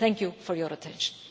Thank you for your attention.